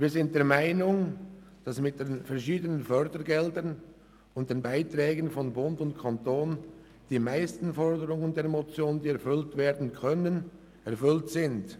Wir sind der Meinung, dass mit den verschiedenen Fördergeldern und den Beiträgen von Bund und Kanton die meisten Forderungen der Motion, die erfüllt werden können, erfüllt sind.